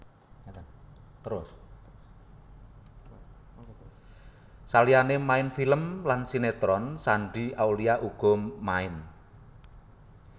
Saliyane main film lan sinetron Shandy Aulia uga main